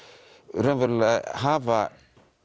raunverulega hafa